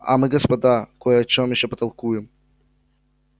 а мы господа кой о чем ещё потолкуем